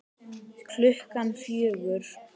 Klukkan fjögur?